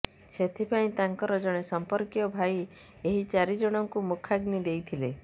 ସେଥିପାଇଁ ତାଙ୍କର ଜଣେ ସମ୍ପର୍କୀୟ ଭାଇ ଏହି ଚାରି ଜଣଙ୍କୁ ମୁଖାଗ୍ନି ଦେଇଥିଲେ